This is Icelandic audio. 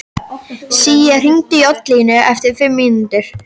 Sía, hringdu í Oddlínu eftir fimm mínútur.